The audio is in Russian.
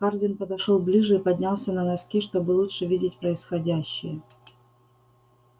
хардин подошёл ближе и поднялся на носки чтобы лучше видеть происходящее